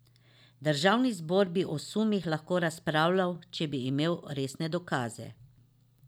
Državni zbor bi o sumih lahko razpravljal, če bi imel resne dokaze.